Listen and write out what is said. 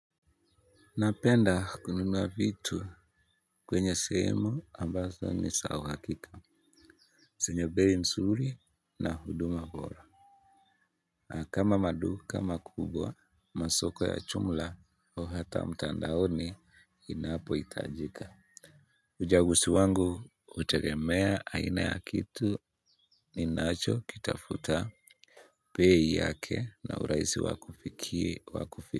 Napenda kununua vitu kwenye sehemu ambazo ni za uhakika zenye bei nzuri na huduma bora. Na kama maduka makubwa masoko ya jumla hata mtandaoni inapohitajika. Uchaguzi wangu hutegemea aina ya kitu ninachokitafuta bei yake na urahisi wakufikia.